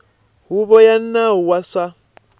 huvo ya nawu wa swa